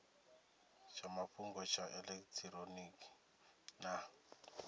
tsha mafhungo tsha elekitironiki na